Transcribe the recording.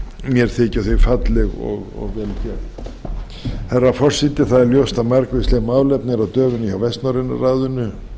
mér þykja þau falleg og vel gerð herra forseti það er ljóst að margvísleg málefni eru á döfinni hjá vestnorræna ráðinu